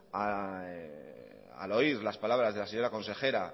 al oír las palabras de las señora consejera